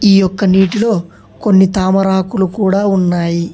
ఈ ఒక్క నీటిలో కొన్ని తామరాకులు కూడా ఉన్నాయి.